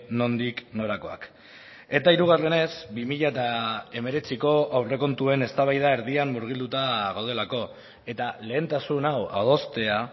nondik norakoak eta hirugarrenez bi mila hemeretziko aurrekontuen eztabaida erdian murgilduta gaudelako eta lehentasun hau adostea